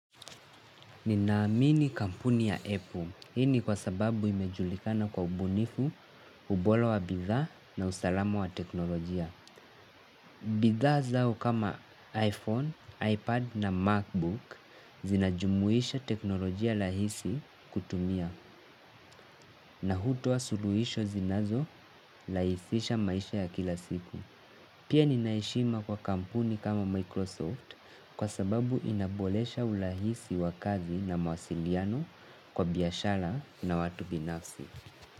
Ninaamini kampuni ya Apple. Hii ni kwa sababu imejulikana kwa ubunifu, ubora wa bidhaa na usalama wa teknolojia. Bidhaa zao kama iPhone, iPad na MacBook zinajumuisha teknolojia rahisi kutumia na hutoa suluhisho zinazorahisisha maisha ya kila siku. Pia nina heshima kwa kampuni kama Microsoft kwa sababu inaboresha urahisi wa kazi na mawasiliano kwa biashara na watu binafsi.